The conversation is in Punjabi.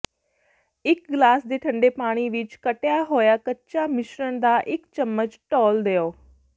ਇੱਕ ਗਲਾਸ ਦੇ ਠੰਡੇ ਪਾਣੀ ਵਿੱਚ ਕੱਟਿਆ ਹੋਇਆ ਕੱਚਾ ਮਿਸ਼ਰਣ ਦਾ ਇੱਕ ਚਮਚ ਡੋਲ੍ਹ ਦਿਓ